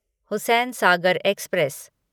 Hussain Sagar express